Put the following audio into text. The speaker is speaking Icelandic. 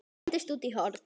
Hendist út í horn.